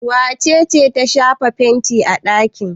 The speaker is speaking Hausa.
Wace ce ta shafa fenti a ɗaki?